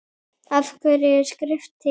Af hverju er skrift til?